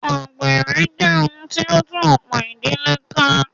Àgbèrè jẹ́ ohun tí o ń tú ọ̀pọ̀ ìdílé ká.